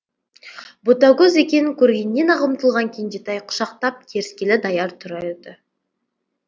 ботагөз екенін көргеннен ақ ұмтылған кенжетай құшақтап керіскелі даяр тұр еді